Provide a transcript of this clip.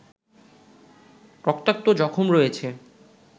রক্তাক্ত জখম রয়েছে